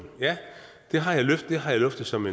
ja det har jeg luftet som